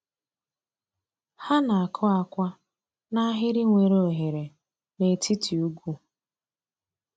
Ha na-akụ akwa n’ahịrị nwere oghere n’etiti ugwu.